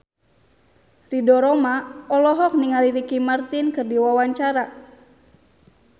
Ridho Roma olohok ningali Ricky Martin keur diwawancara